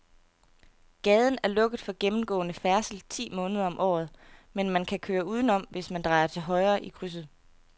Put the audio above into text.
Gaden er lukket for gennemgående færdsel ti måneder om året, men man kan køre udenom, hvis man drejer til højre i krydset.